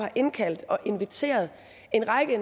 indkaldt og inviteret en række